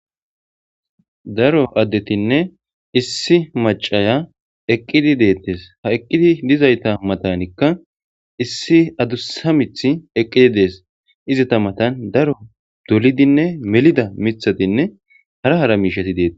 Daro addetinne issi macaya eqqidi deettes ha eqqidi dizayta matanikka issi adusamith eqqidi dees izi ta matan daro dolidinne melida mithatinne hara hara miishati deete.